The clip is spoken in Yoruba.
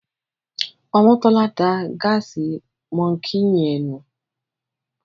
Omotola dá Gas monkey yen nù.